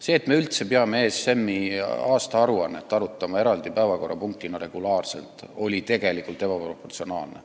See, et me üldse peame ESM-is osalemise aastaaruannet eraldi päevakorrapunktina regulaarselt arutama, on tegelikult ebaproportsionaalne.